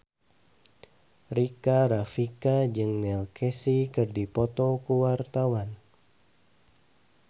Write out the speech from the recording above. Rika Rafika jeung Neil Casey keur dipoto ku wartawan